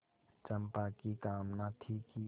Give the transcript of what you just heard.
चंपा की कामना थी कि